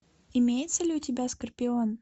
имеется ли у тебя скорпион